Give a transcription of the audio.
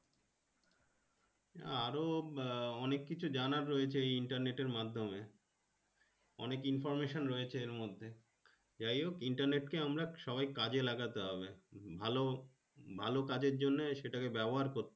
আরো আহ অনেককিছু জানার রয়েছে। এই Internet এর মাধ্যমে অনেক Information রয়েছে এর মধ্যে যাই হোক Internet কে আমরা সবাই কাজে লাগাতে হবে ভালো ভালো কাজের জন্য সেটা কে ব্যাবহার করতে